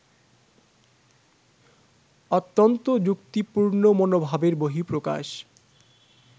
অত্যন্ত যুক্তিপূর্ণ মনোভাবের বহিঃপ্রকাশ